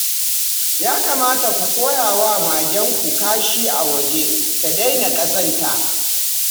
Ya kamata ku koya wa magenku kashi awaje ta daina ƙazanta